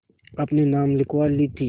अपने नाम लिखवा ली थी